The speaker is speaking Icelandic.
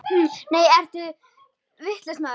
Nei, ertu vitlaus maður!